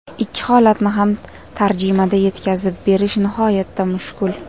Ikki holatni ham tarjimada yetkazib berish nihoyatda mushkul.